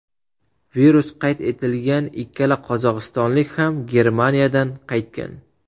Virus qayd etilgan ikkala qozog‘istonlik ham Germaniyadan qaytgan .